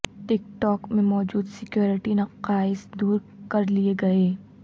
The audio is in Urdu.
ٹک ٹاک میں موجود سکیورٹی نقائص دور کر لیے گئے